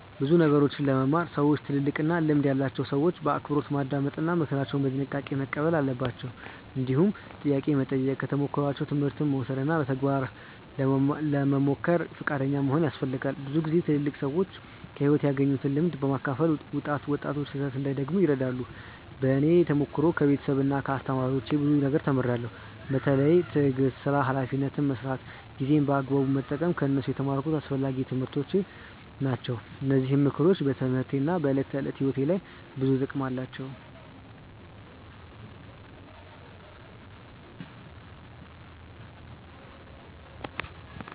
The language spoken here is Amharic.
ብዙ ነገሮችን ለመማር ሰዎች ትልልቅና ልምድ ያላቸውን ሰዎች በአክብሮት ማዳመጥ እና ምክራቸውን በጥንቃቄ መቀበል አለባቸው። እንዲሁም ጥያቄ መጠየቅ፣ ከተሞክሯቸው ትምህርት መውሰድ እና በተግባር ለመሞከር ፈቃደኛ መሆን ያስፈልጋል። ብዙ ጊዜ ትልልቅ ሰዎች ከሕይወት ያገኙትን ልምድ በማካፈል ወጣቶች ስህተት እንዳይደግሙ ይረዳሉ። በእኔ ተሞክሮ ከቤተሰብና ከአስተማሪዎች ብዙ ነገር ተምሬያለሁ። በተለይ ትዕግስት፣ ሥራን በኃላፊነት መስራት እና ጊዜን በአግባቡ መጠቀም ከእነሱ የተማርኩት አስፈላጊ ትምህርቶች ናቸው። እነዚህ ምክሮች በትምህርቴና በዕለት ተዕለት ሕይወቴ ላይ ብዙ ጥቅም አላቸው።